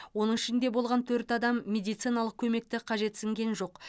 оның ішінде болған төрт адам медициналық көмекті қажетсінген жоқ